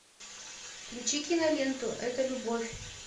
включи киноленту это любовь